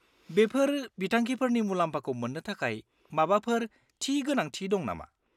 -बेफोर बिथांखिफोरनि मुलाम्फाखौ मोन्नो थाखाय माबाफोर थि गोनांथि दं नामा?